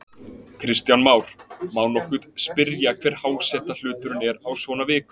Kristján Már: Má nokkuð spyrja hver hásetahluturinn er á svona vikum?